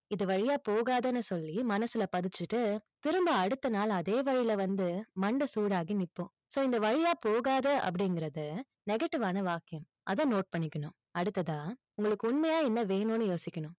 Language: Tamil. இது வழியா போகாதன்னு சொல்லி, மனசுல பதிச்சிட்டு, திரும்ப அடுத்த நாள் அதே வழியில வந்து, மண்ட சூடாகி நிப்போம் so இந்த வழியா போகாத, அப்படிங்கறது negative வான வாக்கியம். அதை note பண்ணிக்கணும். அடுத்ததா உங்களுக்கு உண்மையா என்ன வேணுன்னு யோசிக்கணும்.